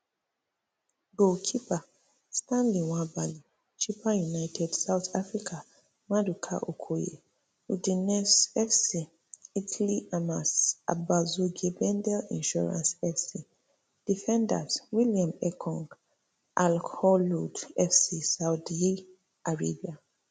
goal keepers stanley nwabali chippa united south africa maduka okoye udinese fc italy amas obasogie bendel insurance fc defenders william ekong alkholood fc saudi arabia